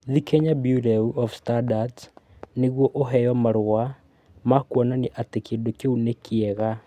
Thiĩ Kenya Bureau of Standards nĩguo ũheo marũa ma kuonania atĩ kĩndũ kĩu nĩ kĩega.